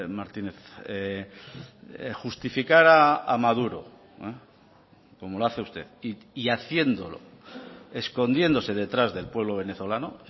martínez justificar a maduro como lo hace usted y haciéndolo escondiéndose detrás del pueblo venezolano